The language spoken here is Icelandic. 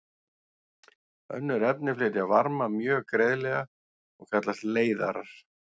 Önnur efni flytja varma mjög greiðlega og kallast leiðarar.